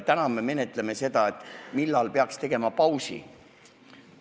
Täna me menetleme seda, millal peaks tegema pausi.